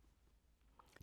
DR1